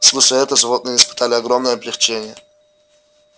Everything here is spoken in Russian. слушая это животные испытали огромное облегчение